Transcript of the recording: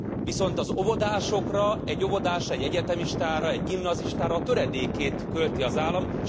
Viszont egy óvodásra, egy egyetemistára, egy gimnazistára a töredékét költi az állam.